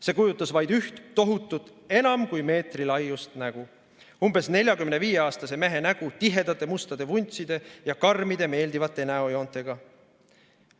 See kujutas vaid üht tohutut, enam kui meetrilaiust nägu: umbes neljakümne viie aastase mehe nägu tihedate mustade vuntside ja karmide meeldivate näojoontega.